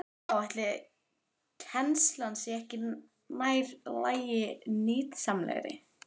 Já, ætli kennslan sé ekki nær lagi og nytsamlegri?